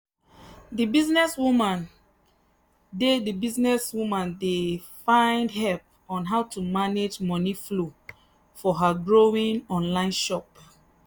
the businesswoman dey the businesswoman dey find help on how to manage money flow for her growing online shop.